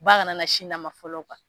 Ba kana na sin d'a ma fɔlɔ